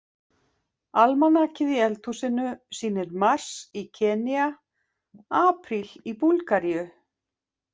Almanakið í eldhúsinu sýnir mars í Kenýa, apríl í Búlgaríu.